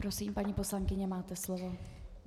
Prosím, paní poslankyně, máte slovo.